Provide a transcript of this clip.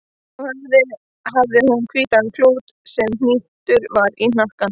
Á höfði hafði hún hvítan klút sem hnýttur var í hnakkanum.